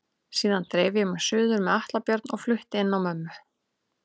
Síðan dreif ég mig suður með Atla Björn og flutti inn á mömmu.